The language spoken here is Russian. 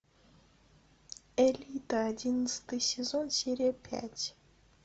элита одиннадцатый сезон серия пять